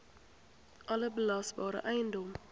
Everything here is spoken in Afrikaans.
alle belasbare eiendom